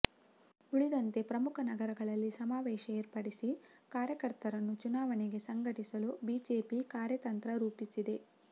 ಉಳಿದಂತೆ ಪ್ರಮುಖ ನಗರಗಳಲ್ಲಿ ಸಮಾವೇಶ ಏರ್ಪಡಿಸಿ ಕಾರ್ಯಕರ್ತರನ್ನು ಚುನಾವಣೆಗೆ ಸಂಘಟಿಸಲು ಬಿಜೆಪಿ ಕಾರ್ಯತಂತ್ರ ರೂಪಿಸುತ್ತಿದೆ